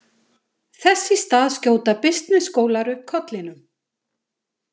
Þess í stað skjóta bisnessskólar upp kollinum.